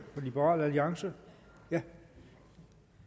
liberal alliance ja